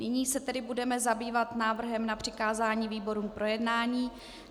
Nyní se tedy budeme zabývat návrhem na přikázání výborům k projednání.